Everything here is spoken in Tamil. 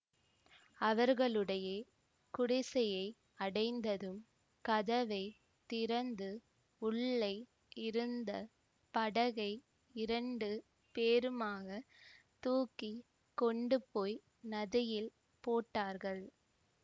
அவர்களுடைய குடிசையை அடைந்ததும் கதவை திறந்து உள்ளே இருந்த படகை இரண்டு பேருமாகத் தூக்கி கொண்டுபோய் நதியில் போட்டார்கள்